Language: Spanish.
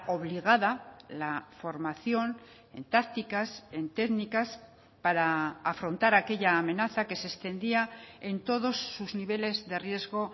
obligada la formación en tácticas en técnicas para afrontar aquella amenaza que se extendía en todos sus niveles de riesgo